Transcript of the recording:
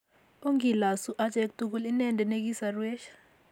Ongilosu achek tugul inendet ne kisoruech